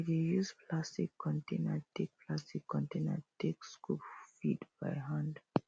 we dey use plastic container take plastic container take scoop feed by hand